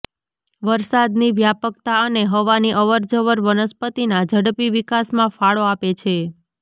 વરસાદની વ્યાપકતા અને હવાની અવરજવર વનસ્પતિના ઝડપી વિકાસમાં ફાળો આપે છે